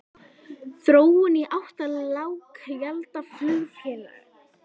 Þróun í átt að lággjaldaflugfélagi?